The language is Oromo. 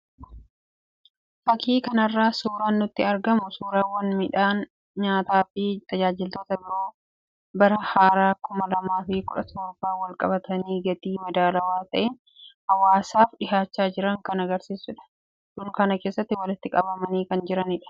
Fakii kanarraa suuraan nutti argamu suuraawwan midhaan nyaataa fi tajaajiloota biroo bara haaraa kuma lamaaf kudha torbaan wal-qabatanii gatii madaalawaa ta'een hawaasaaf dhiyaachaa jiran kan agarsiisudha. Dunkaana keessatti walitti qabamanii kan jiranidha.